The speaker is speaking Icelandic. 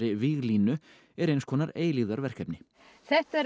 víglínunni er eins konar eilífðarverkefni þetta er